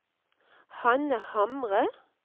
Hanna Hamre